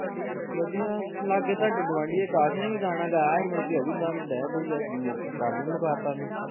ਵਧੀਆ, ਲਾਗੇ ਤੁਹਾਡੇ ਗੁਆਂਢੀ ਅਕਾਸ਼ ਨੇ ਵੀ ਗਾਣਾ ਗਾਇਆ ਸੀ ਮੁੜ ਕੇ ਉਹ ਵੀ ਬਹਿ ਬਹੁ ਗਿਆ, ਮੁਕ ਕੰਮ ਈ ਮੁਕਾਤਾ ਉਹਨੇ